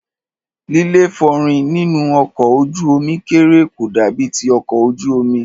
líléfòórìn nínú ọkọ̀ ojú omi kékeré kò dàbí ti ọkọ̀ ojú omi.